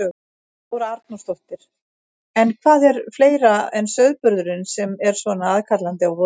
Þóra Arnórsdóttir: En hvað er fleira en sauðburðurinn sem er svona aðkallandi á vorin?